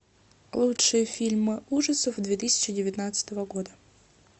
лучшие фильмы ужасов две тысячи девятнадцатого года